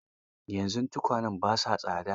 Yanzu tukwane ba sa tsatsa.